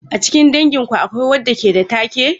A cikin danginku akwai wanda ke da take?